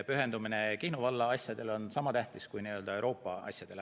Pühendumine Kihnu valla asjadele on sama tähtis kui pühendumine Euroopa asjadele.